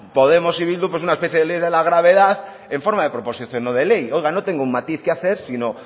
podemos y bildu una especie de ley de la gravedad en forma de proposición no de ley oigan no tengo un matiz que hacer sino